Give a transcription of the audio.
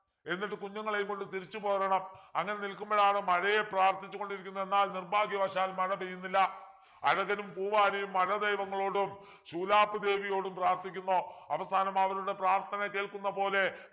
എന്നിട്ട് കുഞ്ഞുങ്ങളെയും കൊണ്ട് തിരിച്ചു പോരണം അങ്ങനെ നിൽക്കുമ്പോളാണ് മഴയെ പ്രാർത്ഥിച്ചു കൊണ്ടിരിക്കുന്നു എന്നാൽ നിർഭാഗ്യവശാൽ മഴ പെയ്യുന്നില്ല അഴകനും പൂവാലിയും മഴ ദൈവങ്ങളോടും ശൂലാപ്പ് ദേവിയോടും പ്രാർത്ഥിക്കുന്നു അവസാനം അവരുടെ പ്രാർത്ഥന കേൾക്കുന്ന പോലെ